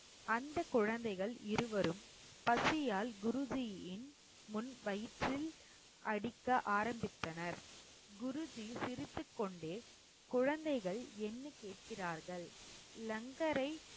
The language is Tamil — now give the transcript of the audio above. அந்த குழந்தைகள் இருவரும் பசியால் குருஜியின் முன் வயிற்றில் அடிக்க ஆரம்பித்தனர் குருஜி சிரித்துக்கொண்டே குழந்தைகள் என்ன கேட்கிறார்கள் லங்கரை